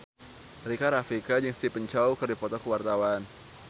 Rika Rafika jeung Stephen Chow keur dipoto ku wartawan